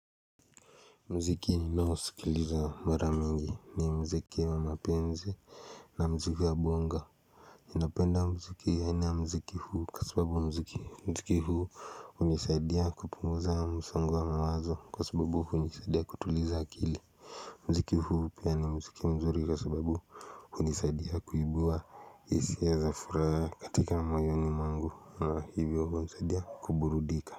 Muziki ninaosikiliza mara mingi ni muziki wa mapenzi na muziki wa bongo napenda muziki ya aina muziki huu kwa sababu muziki huu hunisaidia kupunguza msongo wa mawazo kwa sababu hunisaidia kutuliza akili Muziki huu pia ni muziki mzuri kwa sababu hunisaidia kuibua hisia za furaha katika moyoni mwangu na hivyo hunisaidia kuburudika.